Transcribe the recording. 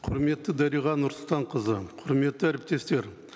құрметті дариға нұрсұлтанқызы құрметті әріптестер